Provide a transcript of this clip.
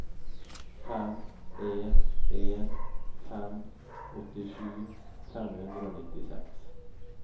fem en en fem åttisju fem hundre og nittiseks